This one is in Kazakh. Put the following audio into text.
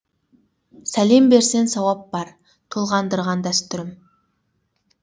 сәлем берсең сауап бар толғандырған дәстүрім